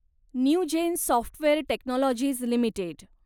Newgen software technologies limited